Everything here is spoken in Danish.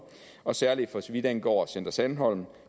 og særlig for så vidt angår center sandholm